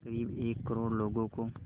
क़रीब एक करोड़ लोगों को